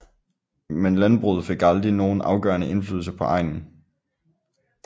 Men landbruget fik aldrig nogen afgørende indflydelse på egnen